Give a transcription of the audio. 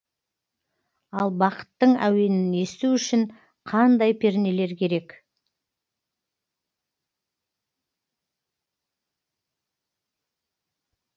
ал бақыттың әуенін есту үшін қандай пернелер керек